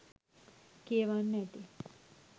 කියවන්න ඇති.